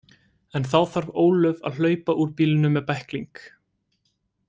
En þá þarf Ólöf að hlaupa úr bílnum með bækling.